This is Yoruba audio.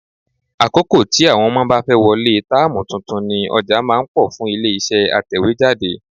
Àkókò tí àwọn ọmọ bá fẹ́ wọlé táàmù tuntun ni ọjà máa ń pọ̀ fún ilé-iṣẹ́ atẹ̀wéjáde.